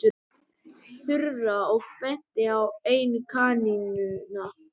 Þura og benti á eina kanínuna.